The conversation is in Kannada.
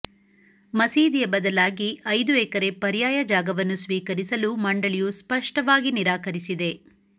ಮಸೀದಿಯ ಬದಲಾಗಿ ಐದು ಎಕರೆ ಪರ್ಯಾಯ ಜಾಗವನ್ನು ಸ್ವೀಕರಿಸಲು ಮಂಡಳಿಯು ಸ್ಪಷ್ಟವಾಗಿ ನಿರಾಕರಿಸಿದೆ